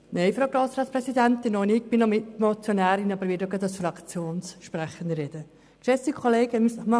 Nein, Frau Grossratspräsidentin, auch ich bin noch Mitmotionärin, werde aber auch gleich als Fraktionssprecherin das Wort ergreifen.